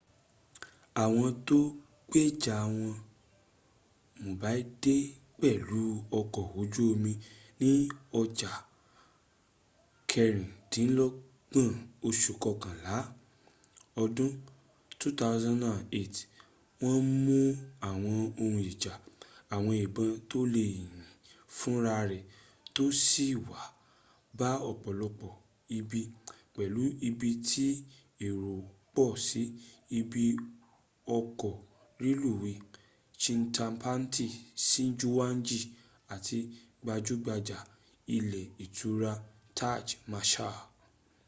àwọn tó gbéjà wọ mumbai dé pẹ̀lú ọkọ̀ ojú omi ní ọja kẹrìndínlọ́gbọ̀n oṣù kọkànlá ọdún 2008 wọ́n mú àwọn ohun ijà àwọn ìbọn tó lè yìn fún ra rẹ̀ tó sì ma ba ọ̀pọ̀lọpọ̀ ibi, pẹ̀lú ibi tí èrò pọ̀ sí ibi ọkọ̀ rẹluwéy chhatrapati shivaji àti gbajúgbajà ilé ìtura taj mahal